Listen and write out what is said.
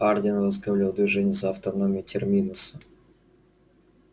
хардин возглавлял движение за автономию терминуса и муниципальное правление